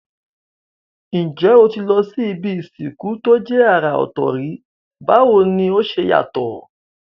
N jé o ti lo si ibi ìsìnkú to je àrà òtò rí, báwoni o se yàtò?